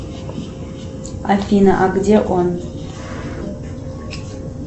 афина а где он